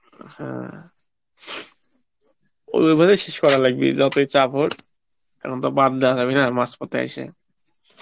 হ্যাঁ ওই ভাবেই শেষ করা লাগবেই, যতই চাপ হোক , এখন তো বাদ দাওয়া যাবে না মাজ পথে এসে